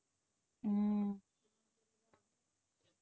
உம்